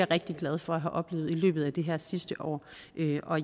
rigtig glad for at have oplevet i løbet af det her sidste år